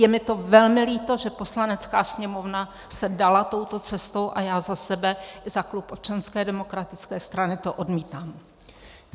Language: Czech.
Je mi to velmi líto, že Poslanecká sněmovna se dala touto cestou, a já za sebe i za klub Občanské demokratické strany to odmítám.